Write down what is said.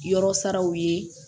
Yɔrɔ saraw ye